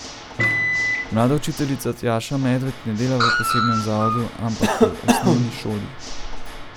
Mlada učiteljica Tjaša Medved ne dela v posebnem zavodu, ampak v osnovni šoli.